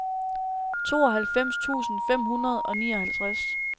tooghalvfems tusind fem hundrede og nioghalvtreds